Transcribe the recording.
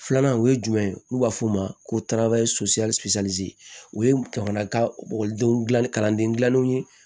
Filanan o ye jumɛn ye n'u b'a f'o ma ko tarawewati o jamana ka ekɔlidenw dilan kalandenw ye